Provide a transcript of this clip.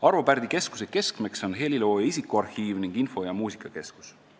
Arvo Pärdi Keskuse keskmeks on helilooja isikuarhiiv ning info- ja muusikakeskus.